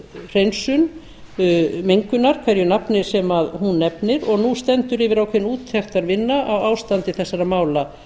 hreinsun mengunar hverju nafni sem hún nefnist og nú stendur yfir ákveðin úttektarvinna á ástandi þessara mála